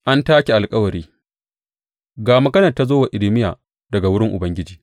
An take alkawari Ga maganar da ta zo wa Irmiya daga wurin Ubangiji.